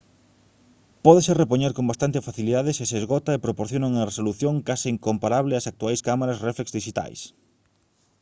pódese repoñer con bastante facilidade se se esgota e proporciona unha resolución case comparable ás actuais cámaras réflex dixitais